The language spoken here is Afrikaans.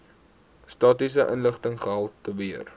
statistiese inligting gehaltebeheer